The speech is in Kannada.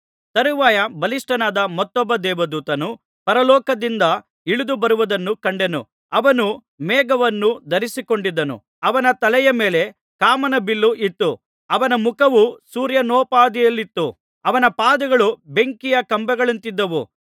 ತರುವಾಯ ಬಲಿಷ್ಠನಾದ ಮತ್ತೊಬ್ಬ ದೇವದೂತನು ಪರಲೋಕದಿಂದ ಇಳಿದುಬರುವುದನ್ನು ಕಂಡೆನು ಅವನು ಮೇಘವನ್ನು ಧರಿಸಿಕೊಂಡಿದ್ದನು ಅವನ ತಲೆಯ ಮೇಲೆ ಕಾಮನಬಿಲ್ಲು ಇತ್ತು ಅವನ ಮುಖವು ಸೂರ್ಯನೊಪಾದಿಯಲ್ಲಿತ್ತು ಅವನ ಪಾದಗಳು ಬೆಂಕಿಯ ಕಂಬಗಳಂತಿದ್ದವು